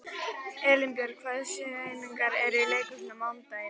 Elínbjörg, hvaða sýningar eru í leikhúsinu á mánudaginn?